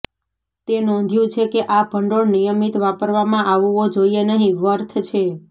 તે નોંધ્યું છે કે આ ભંડોળ નિયમિત વાપરવામાં આવવો જોઈએ નહિં વર્થ છે